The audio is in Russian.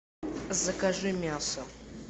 закажи мясо